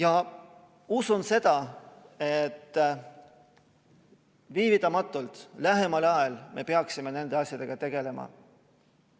Arvan seda, et viivitamatult, lähemal ajal me peaksime nende asjadega tegelema.